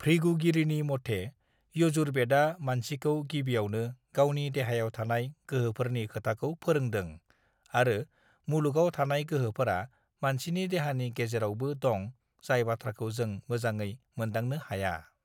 भृगुगिरिनि मथे यजुरबेदआ मानसिखौ गिबियावनो गावनि देहायाव थानाय गोहोफोरनि खोथाखौ फोरोंदों आरो मुलुगआव थानाय गोहोफोरा मानसिनि देहानि गेजेरावबो दं जाय बाथ्राखौ जों मोजाङै मोनदांनो हाया